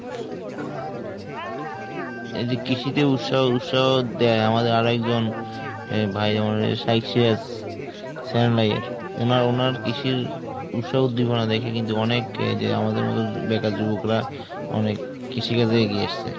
এই যে কৃষিতে উৎসাহ উৎসাহ দেয় আমাদের আরেকজন ভাই আমারে success উনার উনার কৃষির উৎসাহ উদ্দীপনা দেখে কিন্তু অনেক এই যে আমাদের মতো বেকার যুবকরা অনেক কৃষি কাজে এগিয়ে এসেছে।